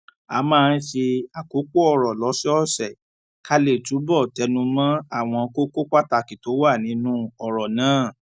a máa ń ṣe àkópò òrò lósòòsè ká lè túbò tẹnu mó àwọn kókó pàtàkì tó wà nínú òrò náà